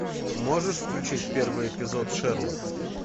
можешь включить первый эпизод шерлок